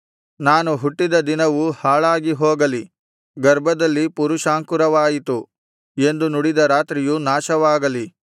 ನಾನು ಹುಟ್ಟಿದ ದಿನವು ಹಾಳಾಗಿ ಹೋಗಲಿ ಗರ್ಭದಲ್ಲಿ ಪುರುಷಾಂಕುರವಾಯಿತು ಎಂದು ನುಡಿದ ರಾತ್ರಿಯು ನಾಶವಾಗಲಿ